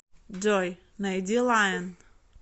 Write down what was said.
джой найди лайон